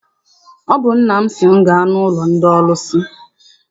Ọ bụ nna m sị m gaa n'ụlọ ndị ọrụsị.